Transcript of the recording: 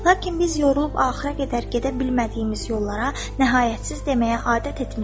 Lakin biz yorulub axıra qədər gedə bilmədiyimiz yollara nəhayətsiz deməyə adət etmişik.